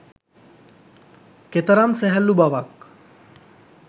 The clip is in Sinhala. කෙතරම් සැහැල්ලු බවක්